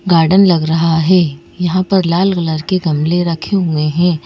Garden लग रहा है यहां पर लाल कलर के गमले रखे हुए हैं।